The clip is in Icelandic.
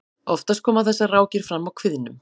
oftast koma þessar rákir fram á kviðnum